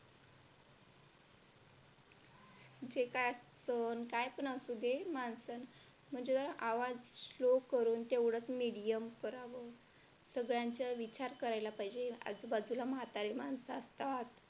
जे काय असतं काय पण असू दे माणसं म्हणजे आवाज slow करून तेवढेच medium करावा सगळ्यांचा विचार करायला पाहिजे आज बाजूला म्हातारे माणसं असतात.